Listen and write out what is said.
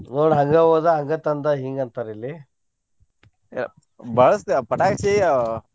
ನೋಡ ಹಂಗ ಓದಾ ಹಂಗ ತಂದಾ ಹಿಂಗ್ ಅಂತಾರ್ ಇಲ್ಲಿ ಪಟಾಕ್ಷಿ ಆಹ್.